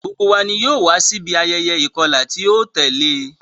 Gbogbo wa ni yoo wa si ibi ayẹyẹ ikọla ti o tẹle.